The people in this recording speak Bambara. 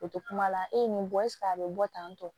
O tɛ kuma la e ye nin bɔ eseke a bɛ bɔ tantɔ